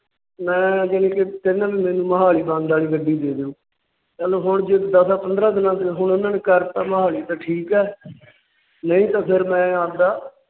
ਮੈ ਯਾਨੀ ਕਿ ਤਿੰਨ ਮਹੀਨਿਆਂ ਵਾਲੀ ਮੋਹਾਲੀ Done ਵਾਲੀ ਗੱਡੀ ਦੇ ਦੀਓ। ਚਲੋ ਹੁਣ ਜੇ ਦੱਸਾਂ ਪੰਦਰਾਂ ਦਿਨਾਂ ਤੱਕ ਕਰਤਾ ਮੋਹਾਲੀ ਤਾਂ ਠੀਕ ਹੈ। ਨਹੀਂ ਤਾਂ ਫਿਰ ਮੈਂ ਆਪਦਾ